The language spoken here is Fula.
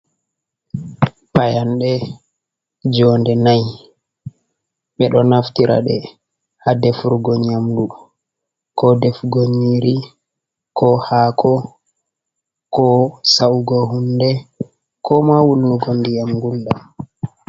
Payanɗe jonnde n'ai, ɓe ɗo naftira ɗe haa defurgo nyamdu, ko defugo nyiri, ko haako, ko sa'ugo hunde, ko ma wulnugo ndiyam gulɗam.